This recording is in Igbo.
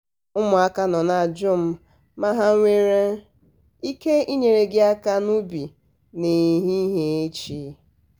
ụmụaka nọ na-ajụ m ma ha nwere um ike ịnyere gị aka n'ubi n'ehihie echi. um